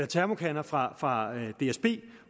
termokander fra fra dsb